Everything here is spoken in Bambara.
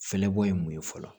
Fɛɛrɛbɔ ye mun ye fɔlɔ